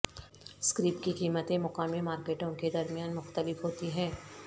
scrap کی قیمتیں مقامی مارکیٹوں کے درمیان مختلف ہوتی ہیں